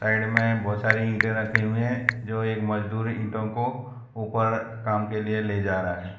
side में बहोत सारे ईंटें रखे हुए हैं जो एक मजदूर ईंटों को ऊपर काम के लिए ले जा रहा --